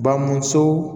Bamuso